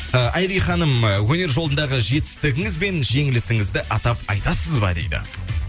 ы айри ханым ы өнер жолындағы жетістігіңіз бен жеңілісіңізді атап айтасыз ба дейді